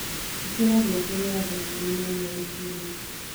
ĩkĩra ngengere ya thaa ĩkũmĩ naĩmwe rũciini